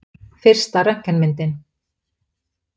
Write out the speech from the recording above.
Fyrsta röntgenmyndin.